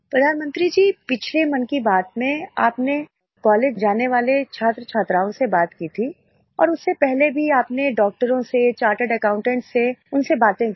प्रधानमंत्री जी पिछले मन की बात में आपने कॉलेज जाने वाले छात्र छात्राओं से बात की थी और उससे पहले भी आपने डॉक्टरों से चार्टेड एकाउंटेंट्स से उनसे बातें करीं